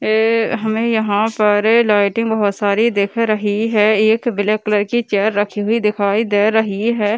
ए हमें यहां पर लाइटे बहुत सारी दिख रही है एक ब्लैक कलर की चेयर रखी हुई दिखाई दे रही है।